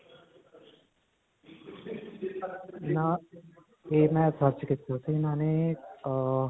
ਨਾਂ. ਇਹ ਮੈ search ਕੀਤਾ ਸੀ. ਉਨ੍ਹਾਂ ਨੇ ਅਅ